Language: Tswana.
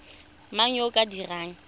mang yo o ka dirang